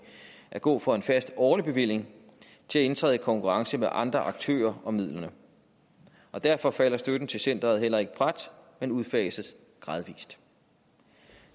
at gå fra en fast årlig bevilling til at indtræde i konkurrence med andre aktører om midlerne og derfor falder støtten til centeret heller ikke brat men udfases gradvist